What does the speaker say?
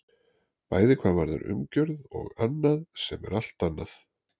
Bæði hvað varðar umgjörð og annað sem er allt annað.